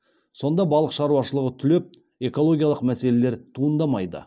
сонда балық шаруашылығы түлеп экологиялық мәселелер туындамайды